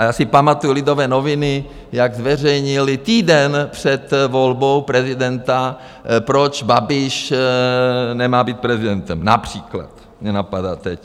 A já si pamatuji Lidové noviny, jak zveřejnily týden před volbou prezidenta, proč Babiš nemá být prezidentem, například mě napadá teď.